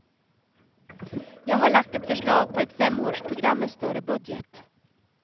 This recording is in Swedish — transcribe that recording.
Jag har lagt ett förslag på ett femårsprogram med större budget.